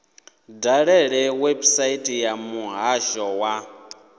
dalele website ya muhasho wa